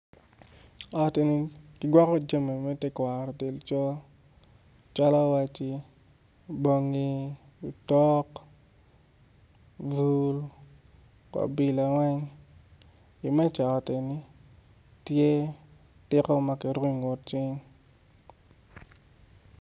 Ot-ti kigwoko jami me tetwaro del col calo waci bongi otok bul obilo imeca i ot eni tye tiko ma kiruko icing